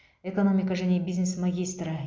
экономика және бизнес магистрі